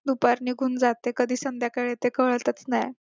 दुपार निघून जाते कधी संध्याकाळ येते कळतच नाय